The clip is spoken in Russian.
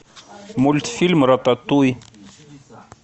мультфильм рататуй